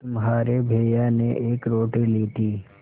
तुम्हारे भैया ने एक रोटी ली थी